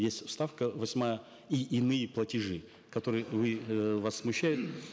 есть вставка восьмая и иные платежи которые вы э вас смущают